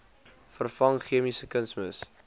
vervang chemiese kunsmis